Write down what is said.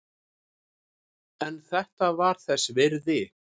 En þetta var þess virði.